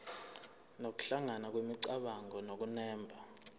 nokuhlangana kwemicabango nokunemba